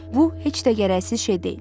Bu heç də gərəksiz şey deyil.